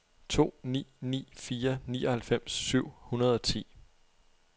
to ni ni fire nioghalvfems syv hundrede og ti